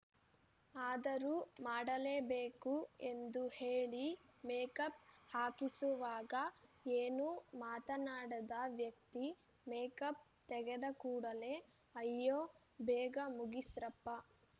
ಆದರೂ ಮಾಡಲೇಬೇಕು ಎಂದು ಹೇಳಿ ಮೇಕಪ್‌ ಹಾಕಿಸುವಾಗ ಏನೂ ಮಾತನಾಡದ ವ್ಯಕ್ತಿ ಮೇಕಪ್‌ ತೆಗೆದಕೂಡಲೇ ಅಯ್ಯೋ ಬೇಗ ಮುಗಿಸ್ರಪ್ಪ